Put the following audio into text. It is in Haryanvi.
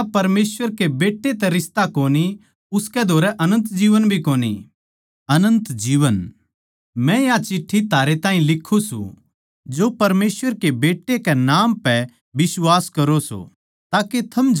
मन्नै या चिट्ठी थारै ताहीं लिखूँ सूं जो परमेसवर कै बेट्टै कै नाम पै बिश्वास करो सों ताके थम जाणो के अनन्त जीवन थारा सै